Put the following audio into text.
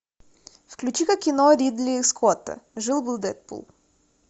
включи ка кино ридли скотта жил был дэдпул